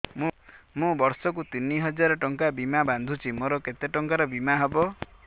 ମୁ ବର୍ଷ କୁ ତିନି ହଜାର ଟଙ୍କା ବୀମା ବାନ୍ଧୁଛି ମୋର କେତେ ଟଙ୍କାର ବୀମା ହବ